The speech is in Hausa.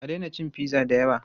A daina cin pizza da yawa!